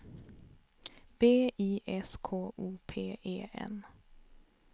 B I S K O P E N